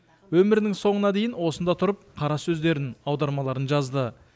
өмірінің соңына дейін осында тұрып қара сөздерін аудармаларын жазды